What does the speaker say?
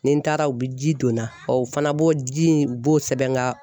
Ni n taara u bi ji donna o fana b'o ji in u b'o sɛbɛn n ga